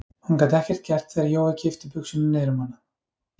Hún gat ekkert gert þegar Jói kippti buxunum niður um hana.